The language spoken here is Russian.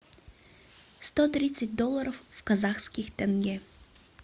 сто тридцать долларов в казахских тенге